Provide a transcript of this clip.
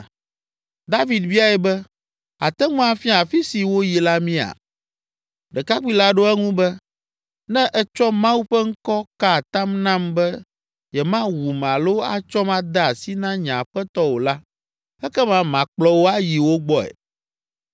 David biae be, “Àte ŋu afia afi si woyi la mía?” Ɖekakpui la ɖo eŋu be, “Ne ètsɔ Mawu ƒe ŋkɔ ka atam nam be yemawum alo atsɔm ade asi na nye aƒetɔ o la, ekema makplɔ wò ayi wo gbɔe.”